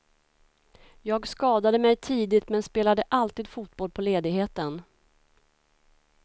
Jag skadade mig tidigt, men spelade alltid fotboll på ledigheten.